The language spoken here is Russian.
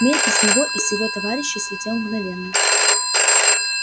хмель и с него и с его товарищей слетел мгновенно